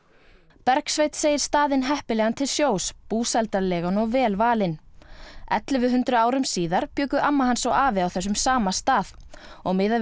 Bergsveinn segir staðinn heppilegan til sjós búsældarlegan og vel valinn ellefu hundruð árum síðar bjuggu amma hans og afi þessum sama stað og miðað við